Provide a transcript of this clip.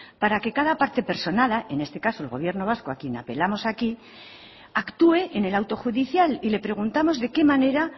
para que cada parte personada en este caso el gobierno vasco a quien apelamos aquí actúe en el auto judicial y le preguntamos de qué manera